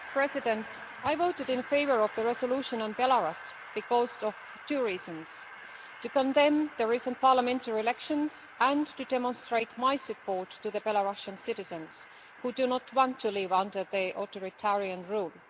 Mr President, I voted in favour of the resolution on Belarus for two reasons to condemn the recent parliamentary elections and to demonstrate my support for the Belarusian citizens, who do not want to live under the authoritarian rule.